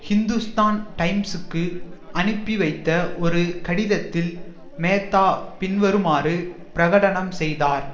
ஹிந்துஸ்தான் டைம்சுக்கு அனுப்பி வைத்த ஒரு கடிதத்தில் மேத்தா பின்வருமாறு பிரகடனம் செய்தார்